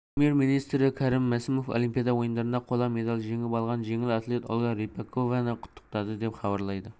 премьер-министрі кәрім мәсімов олимпиада ойындарында қола медаль жеңіп алған жеңіл атлет ольга рыпакованы құттықтады деп хабарлайды